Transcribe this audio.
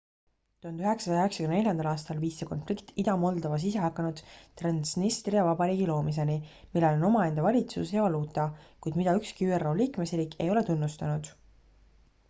1994 aastal viis see konflikt ida-moldovas isehakanud transnistria vabariigi loomiseni millel on omaenda valitsus ja valuuta kuid mida ükski üro liikmesriik ei ole tunnustanud